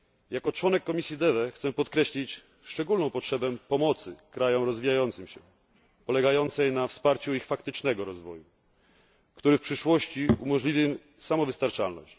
Jako członek komisji DEVE chcę podkreślić szczególną potrzebę pomocy krajom rozwijającym się, polegającej na wsparciu ich faktycznego rozwoju, który w przyszłości umożliwi samowystarczalność.